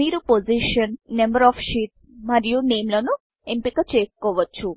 మీరు position number of sheets position number of షీట్స్మరియు name నేమ్లను ఎంపిక చేసుకోవచ్చు